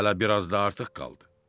Hələ biraz da artıq qaldı.